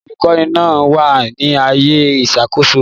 Àwọn olùkọ́ni náà wà ní ààyè ìṣàkóso.